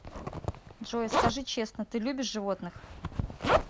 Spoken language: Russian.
джой скажи честно ты любишь животных